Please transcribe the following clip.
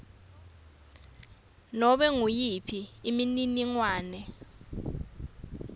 nobe nguyiphi imininingwane